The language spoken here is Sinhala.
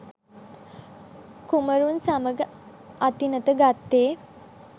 කුමරුන් සමග අතිනත ගත්තේ